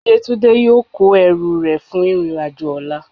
yetunde yọọ kó ẹrú rẹ fún irín ajo ọla.